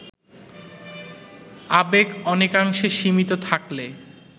আবেগ অনেকাংশে সীমিত থাকলে